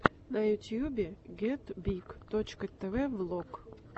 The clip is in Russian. на ютюбе гетбиг точка тв влог